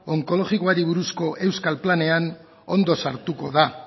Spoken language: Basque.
onkologikoari buruzko euskal planean ondo sartuko da